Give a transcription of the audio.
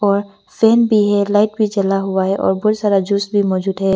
और फैन भी है लाइट भी जला हुआ है और बहुत सारा जूस भी मौजूद है।